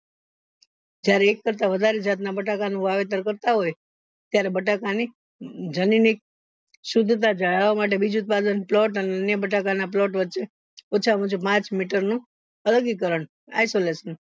જયારે એક કરતા વધુ જાત ના બટાકા નું વાવેતર કરતા હોય ત્યારે બટાકાની જનની શુદ્ધતા જલવા માટે બીજ ઉત્પાદન plot અને બટાકા ના plot વછે ઓછા માં ઓછુ પાંચ meter નું isolation